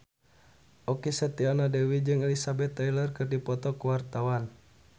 Okky Setiana Dewi jeung Elizabeth Taylor keur dipoto ku wartawan